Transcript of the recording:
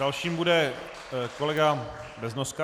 Dalším bude kolega Beznoska.